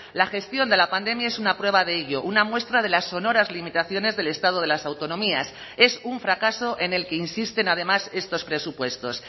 la gestión de la pandemia es una prueba de ello una muestra de las sonoras limitaciones del estado de las autonomías es un fracaso en el que insisten además estos presupuestos